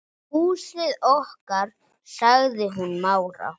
Húsið okkar.- sagði hún rám.